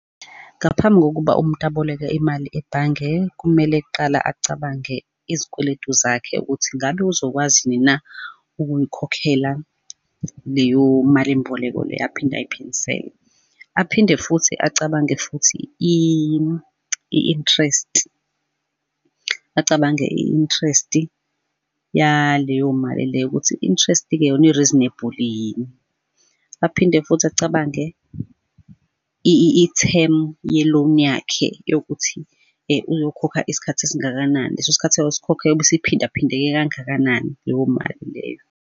Ngaphambi kokuba umuntu aboleke imali ebhange, kumele kqala acabange izikweletu zakhe ukuthi ngabe uzokwazi yini na ukuyikhokhela leyo malimboleko le aphinde ayiphindisele. Aphinde futhi acabange futhi i-interest, acabange i-interest-i yaleyo mali leyo, ukuthi interest-ke yona i-reasonable yini. Aphinde futhi acabange i-term ye loan yakhe yokuthi uyokhokha isikhathi esingakanani, leso sikhathi ayosikhokha iyobe isiphinda phindeke kangakanani leyo mali leyo.